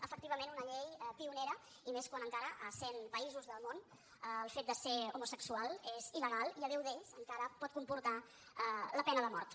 efectivament una llei pionera i més quan encara a cent països del món el fet de ser homo·sexual és il·legal i a deu d’ells encara pot comportar la pena de mort